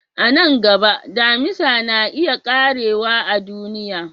A nan gaba, Damisa na iya ƙarewa a duniya.